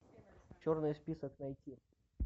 черный список найти